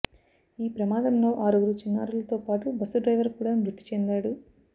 ఈ ప్రమాదంలో ఆరుగురు చిన్నారులతో పాటు బస్సు డ్రైవర్ కూడా మృతిచెందాడు